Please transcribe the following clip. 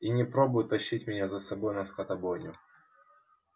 и не пробуй тащить меня за собой на скотобойню